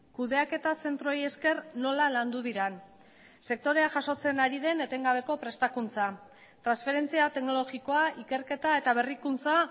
kudeaketa zentroei esker nola landu diren sektorea jasotzen ari den etengabeko prestakuntza transferentzia teknologikoa ikerketa eta berrikuntza